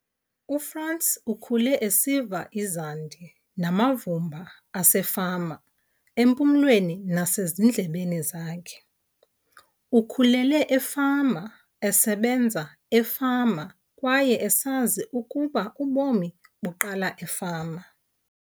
UFrans ukhule esiva izandi namavumba asefama empumlweni nasezindlebeni zakhe. Ukhulele efama, esebenza efama kwaye esazi ukuba ubomi buqala efama.